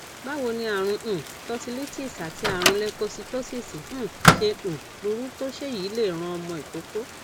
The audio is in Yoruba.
báwo ni àrùn um tonsillitis àti àrùn leukocytosis um ṣe um burú tó se eyi le ran omo ikoko